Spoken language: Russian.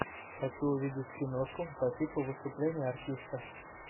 хочу увидеть киношку по типу выступление артиста